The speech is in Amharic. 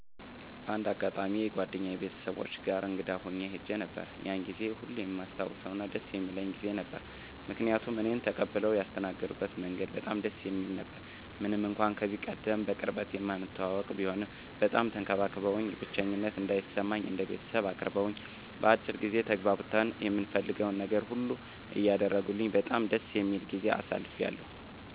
በአንድ አጋጣሚ የጓደኛየ ቤተሰቦች ጋር እንግዳ ሁኜ ሄጄ ነበር። ያንን ጊዜ ሁሌም የማስታውሰውና ደስ የሚለኝ ጊዜ ነው። ምክንያቱም እኔን ተቀብለው ያስተናገድበት መንገድ በጣም ደስ የሚል ነበረ። ምንም እንኳን ከዚህቀደም በቅርበት የማንተዋወቅ ቢሆንም በጣም ተንከባክበውኝ፣ ብቸኝነት እንዳይሰማኝ እንደ ቤተሰብ አቅርበውኝ፣ በአጭር ጊዜ ተግባብተን የምፈልገውን ነገር ሁሉ እያደረጉልኝ በጣም ደስ የሚል ጊዜ አሳልፌያለሁ።